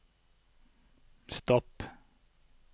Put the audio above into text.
stopp